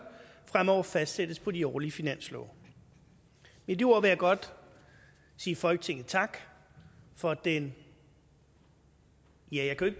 fremover fastsættes på de årlige finanslove med de ord vil jeg godt sige folketinget tak for den ja jeg kan